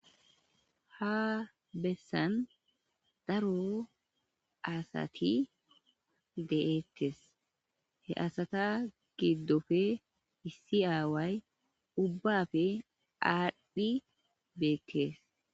Ha bessan daro asati de'ttes he asata giddofe issi aaway ubbafe adhi beettees.